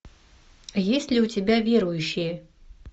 есть ли у тебя верующие